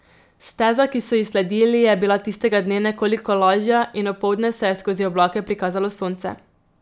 Steza, ki so ji sledili, je bila tistega dne nekoliko lažja in opoldne se je skozi oblake prikazalo sonce.